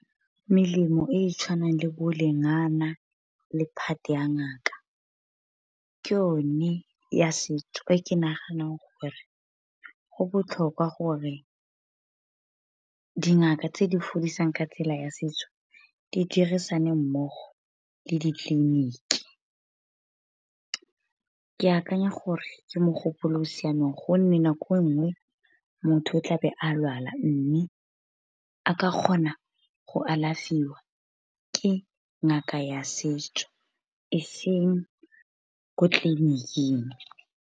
Melemo e e tshwanang le bo lengana le phate ya ngaka, ke o ne ya setso, e ke naganang gore go botlhokwa gore dingaka tse di fodisang ka tsela ya setso di dirisana mmogo le ditleliniki. Ke akanya gore ke mogopolo o siameng, gonne nako e nngwe motho o tlabe a lwala mme, a ka kgona go alafiwa ke ngaka ya setso e seng ko tleliniking.